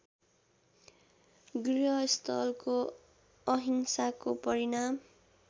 गृहस्थको अंहिसाको परिमाण